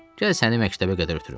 Gəl səni məktəbə qədər ötürüm.